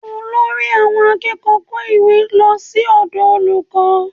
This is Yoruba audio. Olórí àwọn akẹ́kọ̀ọ́ kó ìwé lọ sí ọ̀dọ̀ olùkọ́